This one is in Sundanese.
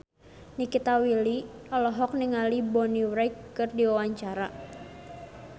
Nikita Willy olohok ningali Bonnie Wright keur diwawancara